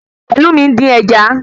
Pelumi ń dín ẹja